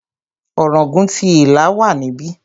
Ọ̀ràngún ti Ìlá wà níbí.